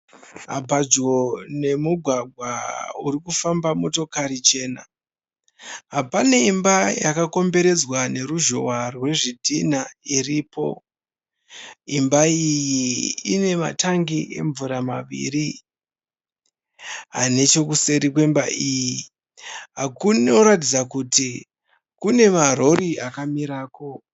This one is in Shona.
Padyo nemugwagwa urikufamba motokari jena pane imba yakakomboredzwa neruzhowa rwezvidhinha iripo. imba iyi ine matangi emvura maviri, nechokuseri kwemba iyi kunoratidza kuti kune marori akamirako.